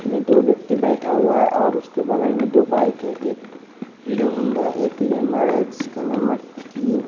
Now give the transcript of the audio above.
में दो व्यक्ति बैठा हुआ है और उसके बगल में दो बाइक है एक हीरो हुंदा है एक लेमर है जिसका नंबर थ्री --